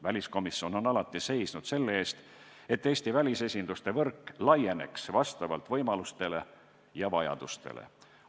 Väliskomisjon on alati seisnud selle eest, et Eesti välisesinduste võrk laieneks vastavalt võimalustele ja vajadustele.